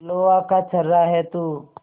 लोहा का छर्रा है तू